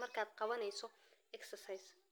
marka xabaguhu ka baxaan dhulka.